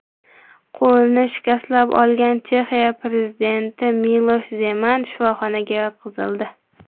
Qo‘lini shikastlab olgan Chexiya prezidenti Milosh Zeman shifoxonaga yotqizildi.